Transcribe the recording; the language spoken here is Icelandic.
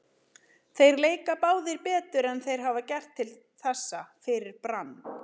Þeir leika báðir betur en þeir hafa gert til þessa fyrir Brann.